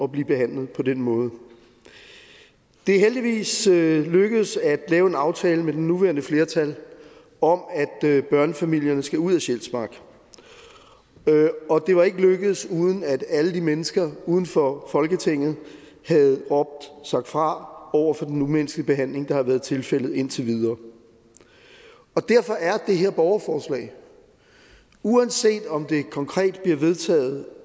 bliver behandlet på den måde det er heldigvis lykkedes at lave en aftale med det nuværende flertal om at børnefamilierne skal ud af sjælsmark og det var ikke lykkedes uden at alle de mennesker uden for folketinget havde råbt sagt fra over for den umenneskelige behandling der har været tilfældet indtil videre og derfor er det her borgerforslag uanset om det konkret bliver vedtaget